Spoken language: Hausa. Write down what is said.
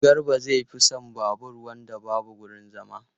Garba zai fi son babur wanda babu wurin zama.